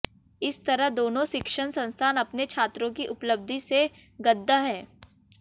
इस तरह दोनों शिक्षण संस्थान अपने छात्रों की उपलब्धि से गद्गद् हैं